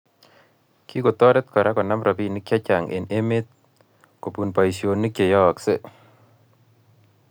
Kikotorit kora konam robinik che chang eng emet kobun boisionik cheyoyoskei